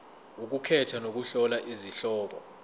ukukhetha nokuhlola izihloko